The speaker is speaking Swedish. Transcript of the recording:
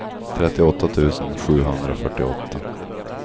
trettioåtta tusen sjuhundrafyrtioåtta